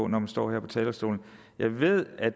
når man står her på talerstolen at jeg ved at